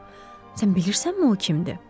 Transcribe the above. Sən bilirsənmi o kimdir?